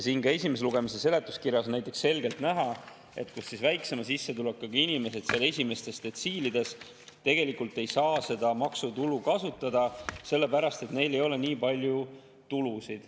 Näiteks, esimese lugemise seletuskirjas on selgelt näha, kuidas väiksema sissetulekuga inimesed seal esimestes detsiilides tegelikult ei saa seda maksu kasutada, sellepärast et neil ei ole nii palju tulusid.